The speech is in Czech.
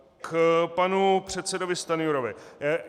K panu předsedovi Stanjurovi.